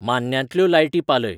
मान्न्यांतल्यो लायटी पालय